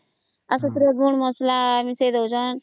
ଆଉ ସେଥିରେ ଗୁଣ୍ଡ ମସଲା ବି ମିଶେଇ ଦଉଛନ